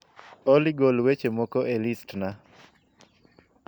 olly golweche moko e list na